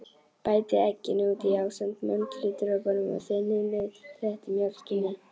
Bætið egginu út í ásamt möndludropunum og þynnið með léttmjólkinni.